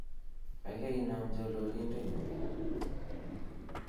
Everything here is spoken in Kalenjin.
gaigai inaam chololindetnyun